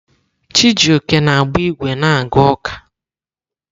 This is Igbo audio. Chijioke na-agba ígwè na-aga ụka.